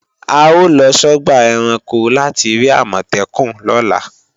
A ó lọ sọ́gbà ẹranko láti rí Àmọ̀tẹ́kùn lọ́la